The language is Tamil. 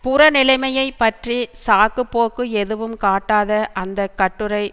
புற நிலைமையை பற்றி சாக்குப்போக்கு எதுவும் காட்டாத அந்த கட்டுரை